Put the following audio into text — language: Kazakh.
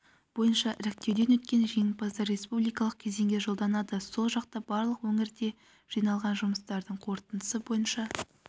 бойынша іріктеуден өткен жеңімпаздар республикалық кезеңге жолданады сол жақта барлық өңірде жиналған жұмыстардың қорытындысы бойынша